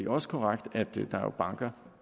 også korrekt at der er banker